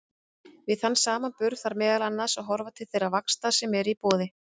Við þann samanburð þarf meðal annars að horfa til þeirra vaxta sem eru í boði.